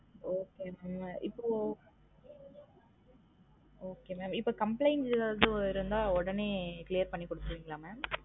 Okay mam இப்ரோ okay mam இப்போ complaint எதாவது இருந்தா ஒடனே clear பன்னி குடுத்திடுவிங்களா mam?